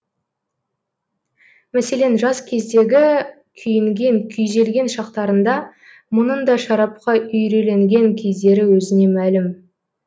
мәселен жас кездегі күйінген күйзелген шақтарында мұның да шарапқа үйреленген кездері өзіне мәлім